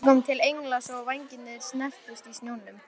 Við bjuggum til engla svo vængirnir snertust í snjónum.